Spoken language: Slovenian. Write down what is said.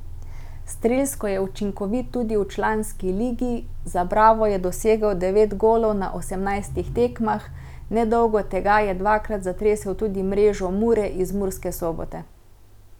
Strelsko je učinkovit tudi v članski ligi, za Bravo je dosegel devet golov na osemnajstih tekmah, nedolgo tega je dvakrat zatresel tudi mrežo Mure iz Murske Sobote.